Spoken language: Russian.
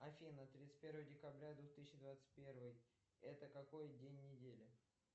афина тридцать первое декабря двух тысячи двадцать первый это какой день недели